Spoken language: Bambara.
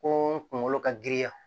Ko kunkolo ka giriya